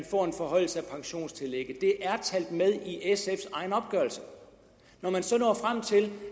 får en forhøjelse af pensionstillægget det er talt med i sfs egen opgørelse når man så når frem til